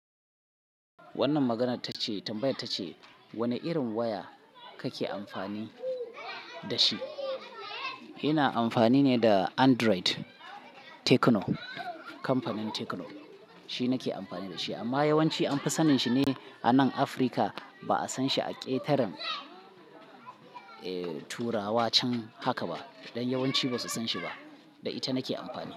Wannan maganar ta ce tambayar ta ce, wane irin waya kake amfani da shi? Ina amfani ne da Android Tecno. Kamfanin Tecno, shi nake amfani da shi amma yawanci an fi sanin shi ne a nan Africa. Ba a san shi a ƙetaren, eh turawa can haka ba. Dan yawanci ba su san shi ba, da ita nake amfani.